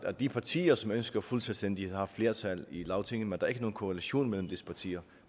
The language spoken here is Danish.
at de partier som ønsker fuld selvstændighed har flertal i lagtinget men der er ikke nogen korrelation mellem disse partier